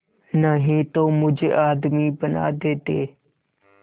नहीं तो मुझे आदमी बना देते